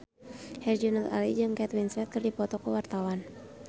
Herjunot Ali jeung Kate Winslet keur dipoto ku wartawan